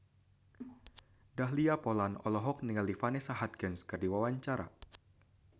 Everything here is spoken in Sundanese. Dahlia Poland olohok ningali Vanessa Hudgens keur diwawancara